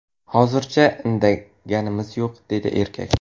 Hozircha indaganimiz yo‘q”, dedi erkak.